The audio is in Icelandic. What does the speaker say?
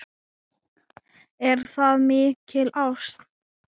Er það mikil ást?